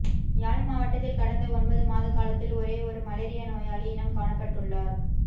யாழ் மாவட்டத்தில் கடந்த ஒன்பது மாதகாலத்தில் ஒரேயொரு மலேரியா நோயாளி இனம் காணப்பட்டுள்ளார்